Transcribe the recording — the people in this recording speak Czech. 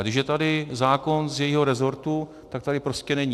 A když je tady zákon z jejího resortu, tak tady prostě není.